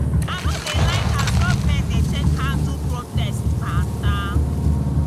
i no dey like as government dey take handle protest mata.